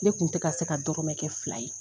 Ne kun tɛ ka se ka dɔrɔmɛ kɛ fila ye.